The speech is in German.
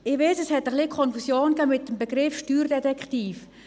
Ich weiss, es gab eine gewisse Konfusion wegen des Begriffs Steuerdetektiv.